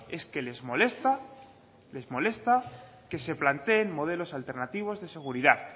es que les molesta les molesta que se planteen modelos alternativos de seguridad